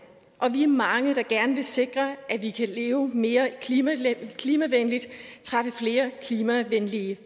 og vi er mange der gerne vil sikre at vi kan leve mere klimavenligt træffe flere klimavenlige